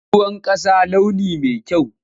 Ruwan ƙasa launi ne mai kyau.